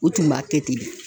U tun b'a kɛ ten de